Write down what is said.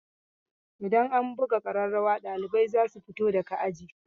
Idan an buga ƙararrawa ɗalibai za su fito daga aji.